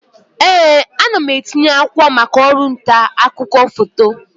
Ee, ana m etinye akwụkwọ maka ọrụ nta akụkọ foto.